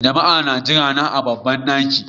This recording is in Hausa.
Jama'a suna jirana a babban ɗakin.